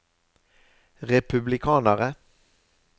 republikanere